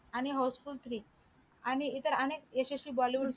आणि house full three आणि इतर अनेक यशस्वी bollywood